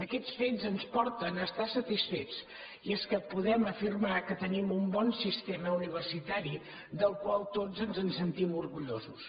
aquests fets ens porten a estar satisfets i és que po·dem afirmar que tenim un bon sistema universitari del qual tots ens en sentim orgullosos